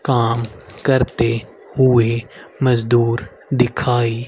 काम करते हुए मजदूर दिखाई--